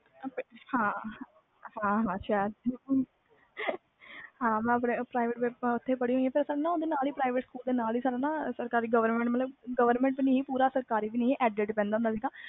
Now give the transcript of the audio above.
ਹਾਂ ਹਾਂ ਸ਼ਹਿਰ ਵਿਚ ਹੀ ਮੈਂ ਪੜ੍ਹੀ ਹੋਈ ਆ private school ਦੇ ਨਾਲ ਹੀ ਸਾਨੂੰ ਸਰਕਰੀ govrment ਨਹੀਂ ਪੂਰਾ ਸਰਕਰੀ ਵੀ